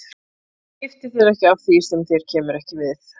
Skiftu þér ekki að því sem þér kemur ekki við.